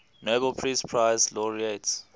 nobel peace prize laureates